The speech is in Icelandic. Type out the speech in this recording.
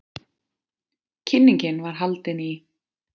Kynningin var haldin í